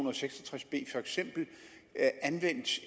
og seks og tres b for eksempel anvendt